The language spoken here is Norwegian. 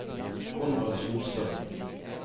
Konrad Solstad